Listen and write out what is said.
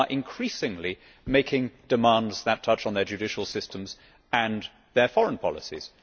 we are increasingly making demands that touch on their judicial systems and their foreign policies.